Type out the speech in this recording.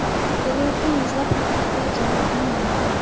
Kelayotgan yuzlab xatlarga javob qilmayman.